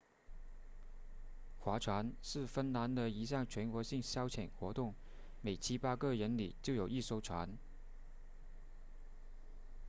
划船是芬兰的一项全国性消遣活动每七八个人里就有一艘船